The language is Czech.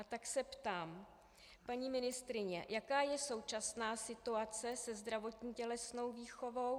A tak se ptám: Paní ministryně, jaká je současná situace se zdravotní tělesnou výchovou?